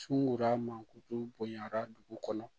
Cunna mankutu bonyara dugu kɔnɔ